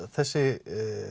þessi